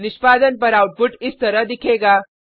निष्पादन पर आउटपुट इस तरह दिखेगा